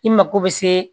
I mago bɛ se